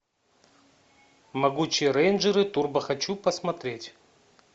могучие рейнджеры турбо хочу посмотреть